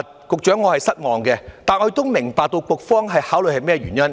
局長，我是失望的，但亦明白局方考慮到甚麼原因。